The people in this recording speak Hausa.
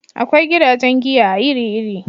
Akwai gidajen giya iri iri